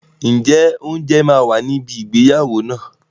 Ǹjẹ́ oúnjẹ máa wà níbi ìgbéyàwó náà?